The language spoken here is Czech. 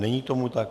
Není tomu tak.